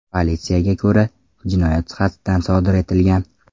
Politsiyaga ko‘ra, jinoyat qasddan sodir etilgan.